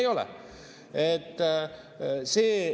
Ei ole!